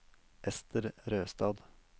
Ester Røstad